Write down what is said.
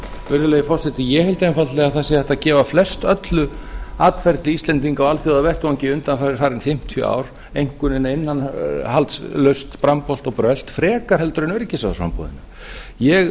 virðulegi forseti ég held einfaldlega að það sé hægt að gefa flestöllu atferli íslendinga á alþjóðavettvangi undanfarin fimmtíu ár einkunnina innihaldslaust brambolt og brölt frekar heldur en öryggisráðsframboðinu ég